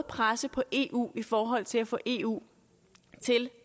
presse på i eu i forhold til at få eu til